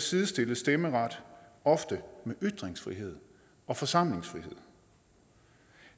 sidestilles stemmeret ofte med ytringsfrihed og forsamlingsfrihed